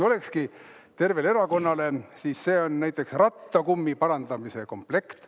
Olekski tervele erakonnale rattakummi parandamise komplekt.